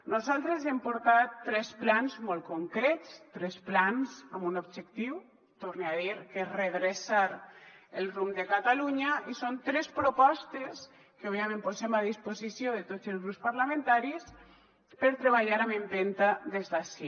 nosaltres hem portat tres plans molt concrets tres plans amb un objectiu ho torne a dir que és redreçar el rumb de catalunya i són tres propostes que òbviament posem a disposició de tots els grups parlamentaris per treballar amb empenta des d’ací